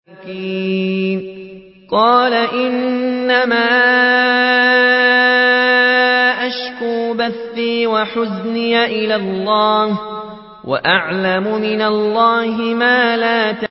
قَالَ إِنَّمَا أَشْكُو بَثِّي وَحُزْنِي إِلَى اللَّهِ وَأَعْلَمُ مِنَ اللَّهِ مَا لَا تَعْلَمُونَ